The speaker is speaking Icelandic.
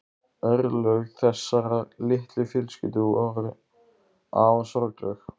Örlög þessarar litlu fjölskyldu voru afar sorgleg.